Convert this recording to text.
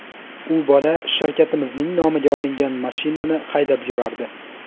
U bola shirkatimizning nomiga olingan mashinani haydab yurardi.